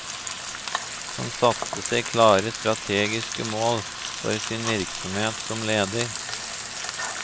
Han satte seg klare strategiske mål for sin virksomhet som leder.